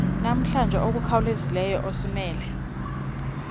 namhlanje okukhawulezileyo esimele